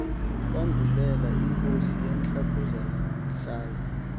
kwandulela inkosi yentlakohlaza